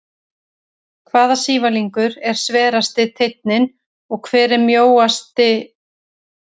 Hvaða sívalningur er sverasti teinninn og hver er mjósti öxullinn?